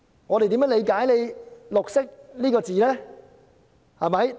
我們應如何理解"綠色"這詞呢？